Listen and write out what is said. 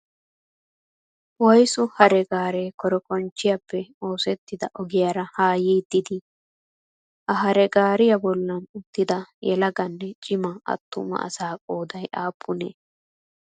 Woyisu hare gaaree korikonchiyaappe opsettida ogiyaara ha yiiddi dii? Ha hare gaariyaa bollan uttida yelaganne cima attuma asa qoodayi aappunee?